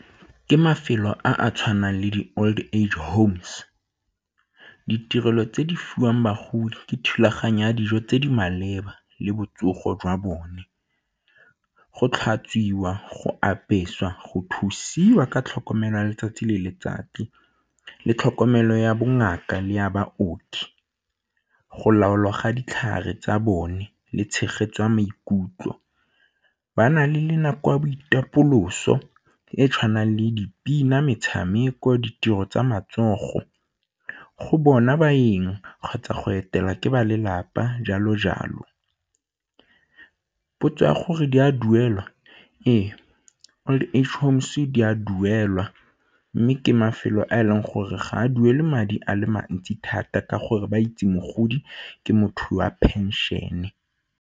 Ke mafelo a a tshwanang le di-old age homes, ditirelo tse di fiwang bagodi ke thulaganyo ya dijo tse di maleba le botsogo jwa bone. Go tlhatswiwa, go apeswa, go thusiwa ka tlhokomelwa letsatsi le letsatsi le tlhokomelo ya bongaka le ya baoki go lapologa ditlhare tsa bone le tshegetso ya maikutlo. Ba na le le nako ya boitapoloso e tshwanang le dipina, metshameko, ditiro tsa matsogo go bona baeng kgotsa go etela ke ba lelapa, jalo-jalo. Potso ya gore di a duelwa? Ee, old age homes di a duelwa mme ke mafelo a e leng gore ga a duele madi a le mantsi thata ka gore ba itse mogodi ke motho wa pension-e.